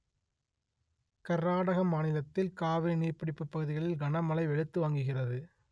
கர்நாட மாநிலத்தில் காவிரி நீர்ப் பிடிப்புப் பகுதிகளில் கனமழை வெளுத்து வாங்குகிறது